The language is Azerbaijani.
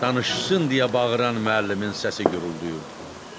Danışsın deyə bağıran müəllimin səsi guruldayırdı.